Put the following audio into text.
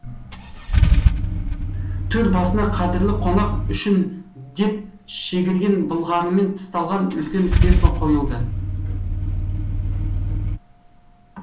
төр басына қадірлі қонақ үшін деп шегірен былғарымен тысталған үлкен кресло қойылды